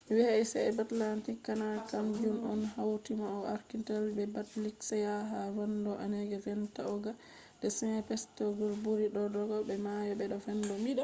white sea-baltic canal kam jun on hauti mayo arctic be baltic sea ha vendo onega vendo ladoga be saint petesburg buri dodogo be mayo be vendo